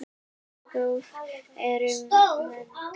Hversu gróf er mölin?